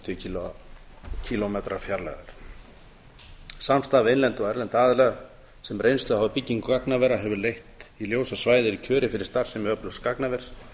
hundrað og fimmtíu kílómetra samstarf við innlenda og erlenda aðila sem reynslu hafa af byggingu gagnavera hefur leitt í ljós að svæðið er kjörið fyrir starfsemi öflugs gagnavers